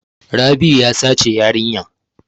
Rabi'u ya sace yarinya.